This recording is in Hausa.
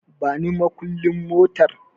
Bani makulli motar